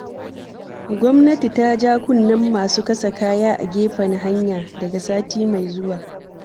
Gwamnati ta ja kunnen masu kasa kaya a gefen hanya, daga sati mai zuwa.